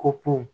Ko kun